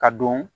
Ka don